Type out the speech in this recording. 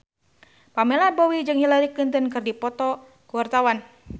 Pamela Bowie jeung Hillary Clinton keur dipoto ku wartawan